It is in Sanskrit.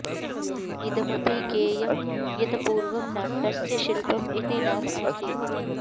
इदमपि ज्ञेयम् यत् पूर्वम् नाट्यस्य शिल्पम् इति नाम आसीत्